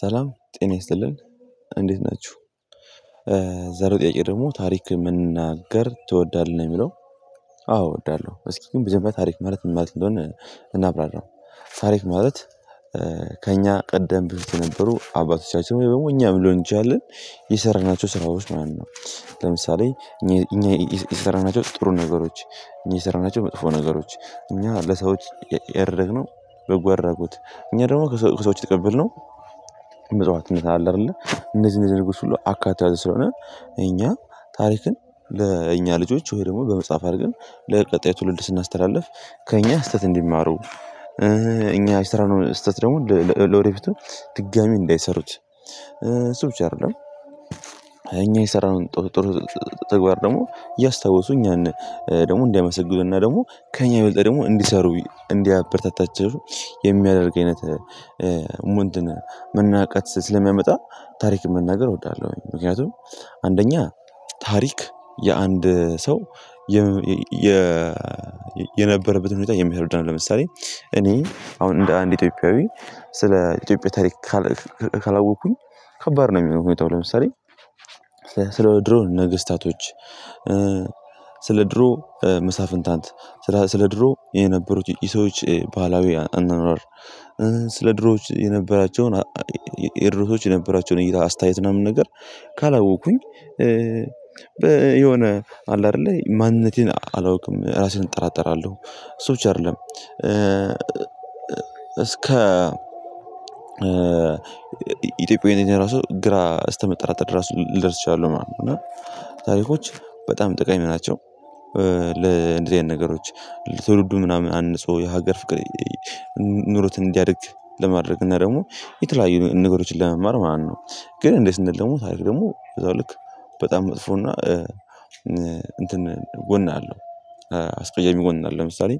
ሰላም ጤና ይስጥልን እንዴት ናችሁ? ዛሬ ጥያቄ ደግሞ ታሪክ መናገር ትወዳለህ የሚለው አዎ እወዳለሁ እስኪ ግን መጀመሪያ ታሪክ ማለት ምን ማለት እንደሆነ እናብራራው ታሪክ ማለት ከእኛ ቀደም ብዙ የነበሩ አባቶቻችን ወይ ደግሞ እኛም ልሆን ይችላል የሰራናቸው ስራዎች ማን ነው ለምሳሌ እኛ የሰራናቸው ጥሩ ነገሮች እኛ የሰራናቸው መጥፎ ነገሮች እኛ ለሰዎች ያደረግነው በጎ አድራጎት እኛ ደግሞ ከሰዎች የተቀበልነው መጽሐፍነት አለ አይደለ እነዚህ እነዚህ ነገሮች ሁሉ አካቶ የያዘ ስለሆነ እኛ ታሪክን ለእኛ ልጆች ወይ ደግሞ በመጽሐፍ አድርገን ለቀጣይ ትውልድ ስናስተላልፍ ከእኛ ስህተት እንዲማሩ እኛ የሰራነውን ስህተት ደግሞ ለወደፊቱ ድጋሚ እንዳይሰሩት እሱ ብቻ አይደለም የሰራነውን ጥሩ ጥሩ ተግባር ደግሞ እያስታወሱ እኛን ደግሞ እንዲያመሰግኑና ደግሞ ከእኛ የበልጠ ደግሞ እንዲሰሩ እንዲያበረታታቸው የሚያደርግ አይነት እንትና መነቃቃት ስለሚያመጣ ታሪክን መናገር እወዳለሁኝ ምክንያቱም አንደኛ ታሪክ የአንድ ሰው የ የነበረበትን ሁኔታ የሚያስረዳ ነው ለምሳሌ እኔ አሁን እንደ አንድ ኢትዮጵያዊ ስለ ኢትዮጵያ ታሪክ ካላወቅኩኝ ከባድ ነው የሚሆነው ለምሳሌ ስለ ድሮ ነገሥታቶች ስለ ድሮ መሳፍንታንት ስለ ድሮ የነበሩት የሰዎች ባህላዊ እናኗር ስለ ድሮዎች የነበራቸውን የድሮ ሰዎች የነበራቸውን እይታ አስተያየት ምናምን ነገር ካላወቅኩኝ የሆነ አለ አይደለ ማንነቴን አላውቅም ራስህን እጠራጠራለሁ እሱ ብቻ አይደለም እስከ ኢትዮጵያዊያን ራሱ ግራ እስከመጠራጠር ድረስ ልደርስ እችላለሁ ማለት ነው እና ታሪኮች በጣም ጠቃሚ ናቸው ለእንደዚህ አይነት ነገሮች ትውልዱን ምናምን አንጾ የሀገር ፍቅር ኑሮት እንዲያድግ ለማድረግ እና ደግሞ የተለያዩ ነገሮችን ለመማር ማለት ነው ግን እንደዚህ እንደሆነ ደግሞ ታሪክ ደግሞ በዛው ልክ በጣም መጥፎና እንትን ጎን አለው አስቀያሚ ጎን አለው ለምሳሌ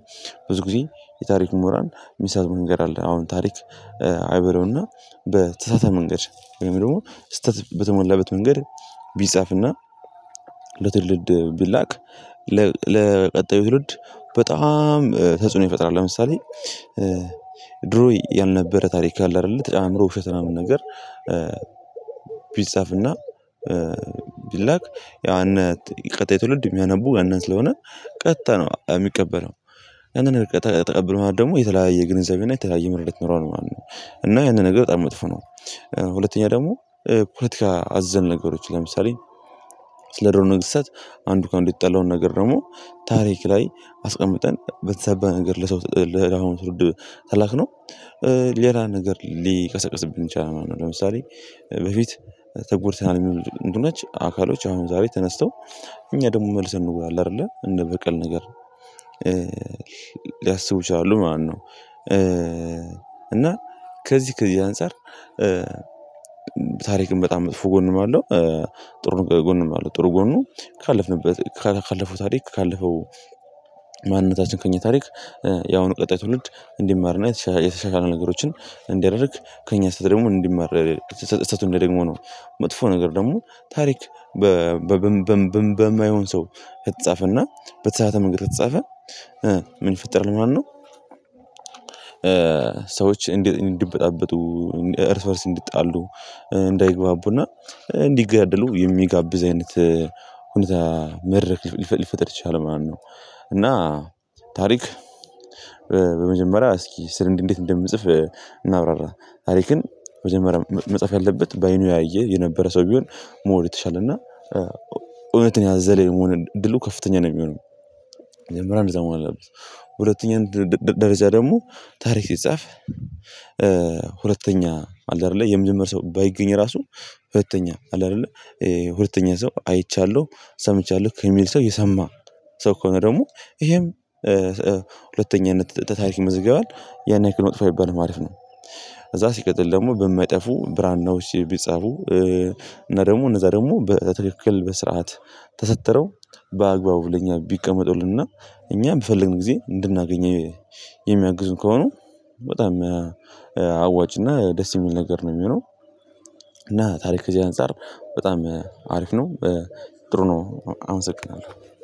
ብዙ ጊዜ የታሪኩ ምሁራን የሚሳሳቱት መንገድ አለ አሁን ታሪክ አይበለውና በተሳተፈ መንገድ ወይም ደግሞ ስህተት በተመላበት መንገድ ቢጻፍና ለትውልድ ቢላክ ለቀጣዩ ትውልድ በጣም ተጽዕኖ ይፈጥራል ለምሳሌ ድሮ ያልነበረ ታሪክ አለ አይደለ ተጨማምሮ ውሸት ምናምን ነገር ቢጻፍና ቢላክ ያው እነ ቀጣይ ትውልድ የሚያነቡ ያንን ስለሆነ ቀጥታ ነው የሚቀበለው ያንን ቀጥታ ተቀበለው ማለት ደግሞ የተለያየ ግንዘቤና የተለያየ ምርመራ ይኖረዋል ማለት ነው እና ያንን ነገር በጣም መጥፎ ነው ሁለተኛ ደግሞ ፖለቲካ አዘል ነገሮች ለምሳሌ ስለድሮ ነገሥታት አንዱ ከአንዱ የተጣለውን ነገር ደግሞ ታሪክ ላይ አስቀምጠን በተዛባ ነገር ላይ ለሰው ለትውልድ ከላክነው ሌላ ነገር ሊቀሰቅስብን ይችላል ማለት ነው ለምሳሌ በፊት ተጎድተናል የሚሉ ቡድኖች አካሎች አሁን ዛሬ ተነስተው እኛ ደግሞ መልስ እንውላለን አይደለ እንደ በቀል ነገር ሊያስቡ ይችላሉ ማለት ነው እና ከዚህ ከዚህ አንፃር ታሪክም በጣም መጥፎ ጎንም አለው ጎንም አለው ጥሩ ጎኑ ካለፍንበት ካለፈው ታሪክ ካለፈው ማንነታችን ከእኛ ታሪክ ያሁኑ ቀጣይ ትውልድ እንዲማር እና የተሻሻለ ነገሮችን እንዲያደርግ ከእኛ ስህተት ደግሞ እንዲማር ስተቱን እንዳይደግመው ነው መጥፎ ነገር ደግሞ ታሪክ በማይሆን ሰው ከተጻፈና በተሳሳተ መንገድ ከተጻፈ ምን ይፈጠራል ማለት ነው? ሰዎች እንዲበጣበጡ እርስ በርስ እንዲጣሉ እንዳይግባቡና እንዲገድሉ የሚጋብዝ አይነት ሁኔታ መድረክ ሊፈጠር ይችላል ማለት ነው እና ታሪክ በመጀመሪያ እስኪ ስር እንዴት እንደምጽፍ እናብራራ ታሪክን መጀመሪያ መጻፍ ያለበት በአይኑ ያየ የነበረ ሰው ቢሆን ሞር የተሻለ እና እውነትን ያዘለ የመሆን እድሉ ከፍተኛ ነው የሚሆነው መጀመሪያ እንደዛ መሆን አለበት ሁለተኛ ደረጃ ደግሞ ታሪክ ሲጻፍ ሁለተኛ አለ አይደለ የሚኖር ሰው ባይገኝ ራሱ ሁለተኛ አለ አይደለ ሁለተኛ ሰው አይቻለሁ ሰምቻለሁ ከሚል ሰው የሰማ ሰው ከሆነ ደግሞ ይሄም ሁለተ ታሪክ ይመዘገባል ያን ያክል መጥፎ አይባልም ማለት ነው ከዛ ሲቀጥል ደግሞ በማይጠፉ ብራናዎች ቢጻፉ እና ደግሞ እነዛ ደግሞ በትክክል በስርዓት ተሰድረው በአግባቡ ለኛ ቢቀመጡልንና እኛ በፈለግን ጊዜ እንድናገኝ የሚያግዙ ከሆነ በጣም አዋጭና ደስ የሚል ነገር ነው የሚሆነው እና ታሪክ ከዚህ አንፃር በጣም አሪፍ ነው ጥሩ ነው አመሰግናለሁ